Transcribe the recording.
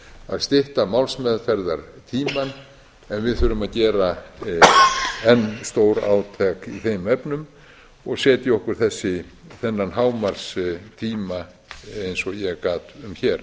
að stytta málsmeðferðartímann en við þurfum að gera enn stórátak í þeim efnum og setja okkur þennan hámarkstíma eins og ég gat um hér